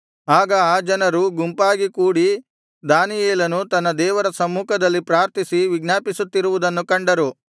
ಆಗ ಆ ಜನರು ಗುಂಪಾಗಿ ಕೂಡಿ ದಾನಿಯೇಲನು ತನ್ನ ದೇವರ ಸಮ್ಮುಖದಲ್ಲಿ ಪ್ರಾರ್ಥಿಸಿ ವಿಜ್ಞಾಪಿಸುತ್ತಿರುವುದನ್ನು ಕಂಡರು